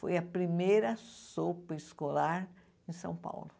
Foi a primeira sopa escolar em São Paulo.